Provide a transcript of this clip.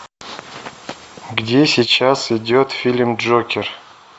где сейчас идет фильм джокер